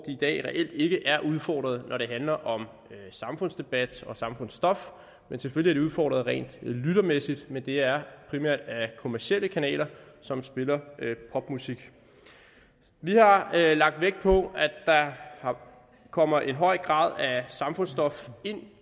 i dag reelt ikke er udfordret når det handler om samfundsdebat og samfundsstof selvfølgelig udfordret rent lyttermæssigt men det er primært af kommercielle kanaler som spiller popmusik vi har lagt vægt på at der kommer en høj grad af samfundsstof ind